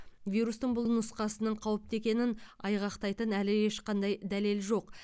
вирустың бұл нұсқасының қауіпті екенін айғақтайтын әлі ешқандай дәлел жоқ